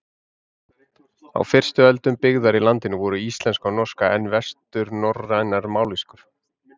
Á fyrstu öldum byggðar í landinu voru íslenska og norska enn vesturnorrænar mállýskur.